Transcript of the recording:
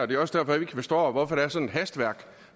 det var i strid